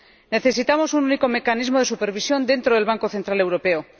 Necesitamos un único mecanismo de supervisión dentro del Banco Central Europeo.